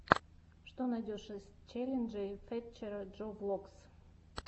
что найдешь из челленджей фэтчера джо влогс